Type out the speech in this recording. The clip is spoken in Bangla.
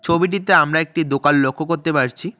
ছবিটিতে আমরা একটি দোকান লক্ষ করতে পারছি।